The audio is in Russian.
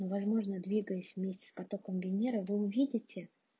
возможно двигаясь вместе с потоком венеры вы увидите